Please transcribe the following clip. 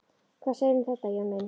Hvað segirðu um þetta, Jón minn?